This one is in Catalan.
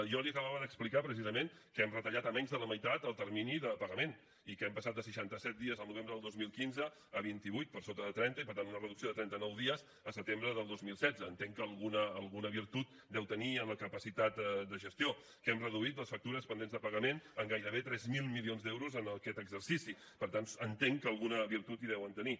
jo li acabava d’explicar precisament que hem retallat a menys de la meitat el termini de pagament i que hem passat de seixanta set dies el novembre de dos mil quinze a vinti vuit per sota de trenta i per tant una reducció de trenta nou dies el setembre de dos mil setze entenc que alguna virtut deu tenir en la capacitat de gestió que hem reduït les factures pendents de pagament en gairebé tres mil milions d’euros en aquest exercici per tant entenc que alguna virtut hi deuen tenir